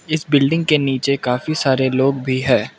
इस बिल्डिंग के नीचे काफी सारे लोग भी है।